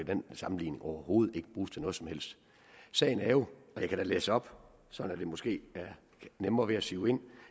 den sammenligning overhovedet ikke bruges til noget som helst sagen er jo og jeg kan da læse op så det måske har nemmere ved at sive ind